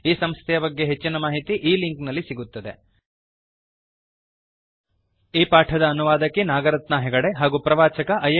ಈ ಸಂಸ್ಥೆಯ ಬಗ್ಗೆ ಹೆಚ್ಚಿನ ಮಾಹಿತಿ ಈ ಲಿಂಕ್ ನಲ್ಲಿ ಸಿಗುತ್ತದೆ httpspoken tutorialorgNMEICT Intro ಈ ಪಾಠದ ಅನುವಾದಕಿ ನಾಗರತ್ನಾ ಹೆಗಡೆ ಹಾಗೂ ಪ್ರವಾಚಕ ಐ